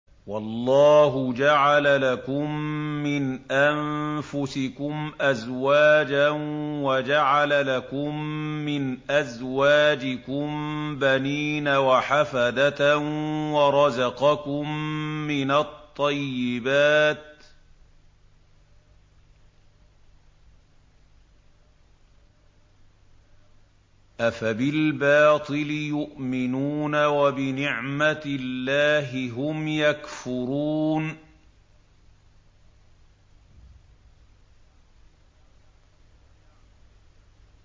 وَاللَّهُ جَعَلَ لَكُم مِّنْ أَنفُسِكُمْ أَزْوَاجًا وَجَعَلَ لَكُم مِّنْ أَزْوَاجِكُم بَنِينَ وَحَفَدَةً وَرَزَقَكُم مِّنَ الطَّيِّبَاتِ ۚ أَفَبِالْبَاطِلِ يُؤْمِنُونَ وَبِنِعْمَتِ اللَّهِ هُمْ يَكْفُرُونَ